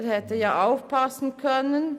Er hätte aufpassen können.